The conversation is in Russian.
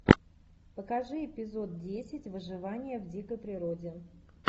покажи эпизод десять выживание в дикой природе